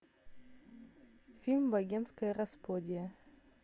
фильм богемская рапсодия